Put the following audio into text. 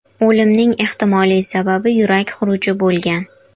O‘limning ehtimoliy sababi yurak xuruji bo‘lgan.